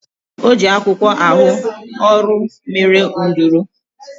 O ji akwụkwọ arụ ọrụ mere nduru